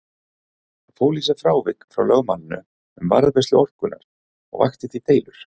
Það fól í sér frávik frá lögmálinu um varðveislu orkunnar og vakti því deilur.